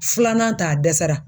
Filanan ta a dɛsɛra.